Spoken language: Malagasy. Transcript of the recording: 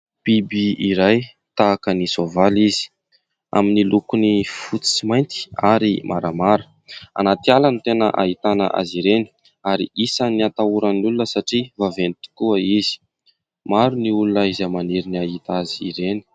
Biby iray tahaka ny soavaly izy amin'ny lokony fotsy sy mainty ary maramara anatiala ny tena ahitana azy ireny ary isan'ny atahoran'ny olona satria vaventy tokoa izy, maro ny olona izay maniry ny ahita azy ireny.